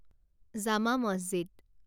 জামা মছজিদ